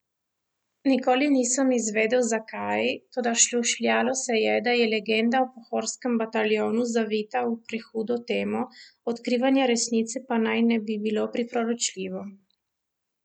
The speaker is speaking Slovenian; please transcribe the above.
Nikoli nisem izvedel, zakaj, toda šušljalo se je, da je legenda o Pohorskem bataljonu zavita v prehudo temo, odkrivanje resnice pa naj ne bi bilo priporočljivo.